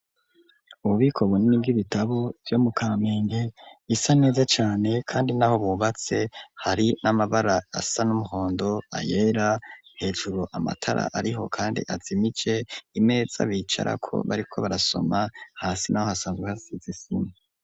Ububiko bunini bw'ibitabo vyo mu Kamenge, bisa neza cane kandi n'aho bubatse hari n'amabara asa n'umuhondo, ayera, hejuru amatara ariho kandi azimije, imeza bicarako bariko barasoma, hasi naho hasanzwe hasize isima.